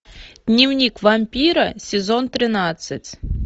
дневник вампира сезон тринадцать